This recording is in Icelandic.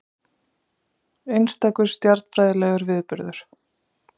Einstakur stjarnfræðilegur viðburður